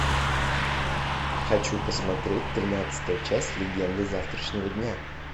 хочу посмотреть тринадцатая часть легенды завтрашнего дня